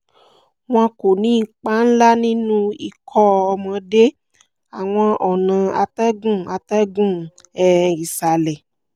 wọn kò ní ipa ńlá nínú ikọ́ ọmọdé ( àwọn ọ̀nà atẹ́gùn atẹ́gùn um ìsàlẹ̀)